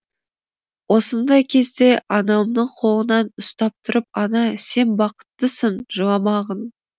осындай кезде анамның қолынан ұстап тұрып ана сен бақыттысың жыламағың